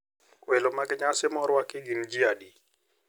Welo mag nyasi ma orwaki gin ji adi?